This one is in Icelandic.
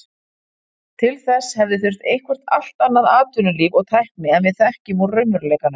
Til þess hefði þurft eitthvert allt annað atvinnulíf og tækni en við þekkjum úr raunveruleikanum.